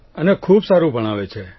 અને ખૂબ સારૂં ભણાવે છે